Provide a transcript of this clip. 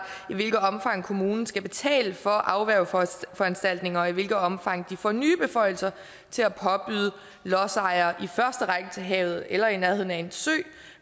i hvilket omfang kommunen skal betale for afværgeforanstaltninger og i hvilket omfang de får nye beføjelser til at påbyde lodsejere i første række til havet eller i nærheden af en sø